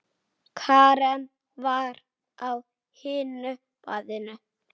Karen var á hinu baðinu.